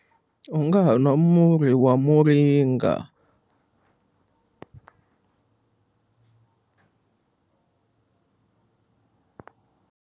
U nga ha nwa murhi wa muringa.